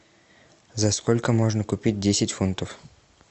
за сколько можно купить десять фунтов